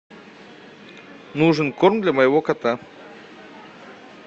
нужен корм для моего кота